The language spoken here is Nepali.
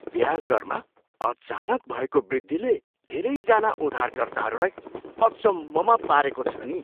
ब्याज दरमा अचानक भएको वृद्धिले धेरैजना उधारकर्ताहरूलाई अचम्ममा पारेको छ नि।